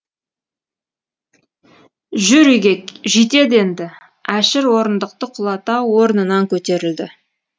жүр үйге жетеді енді әшір орындықты құлата орнынан көтерілді